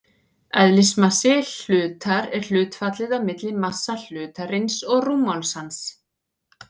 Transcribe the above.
Eðlismassi hlutar er hlutfallið á milli massa hlutarins og rúmmáls hans.